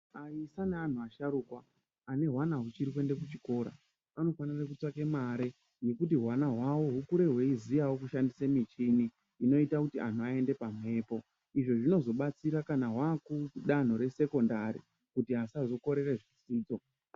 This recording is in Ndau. Aisa naanhu asharukwa, ane hwana huchiri kuende kuchikora, vanofanire kutsvake mari yekuti hwana hwawo hukurewo hweiziyawo kukura hweishandise michini inoita kuti anhu aende pamhepo. Izvo zvinozobatsirawo kuti danho rekusekondari kuti asazokorere zvidzidzo.